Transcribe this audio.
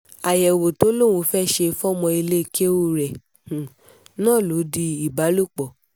àyẹ̀wò tó lóun fẹ́ẹ́ ṣe fọ́mọ ilé kẹ̀ù rẹ̀ náà ló di ìbálòpọ̀